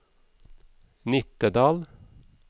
Nittedal